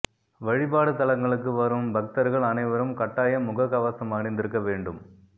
வழிபாடு தலங்களுக்கு வரும் பக்தர்கள் அனைவரும் கட்டாயம் முகக்கவசம் அணிந்திருக்க வேண்டும்